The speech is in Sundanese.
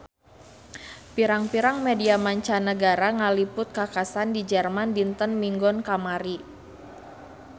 Pirang-pirang media mancanagara ngaliput kakhasan di Jerman dinten Minggon kamari